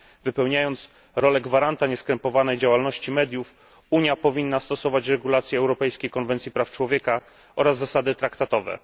Wypełniając rolę gwaranta nieskrępowanej działalności mediów, Unia powinna stosować regulacje Europejskiej konwencji praw człowieka oraz zasady traktatowe.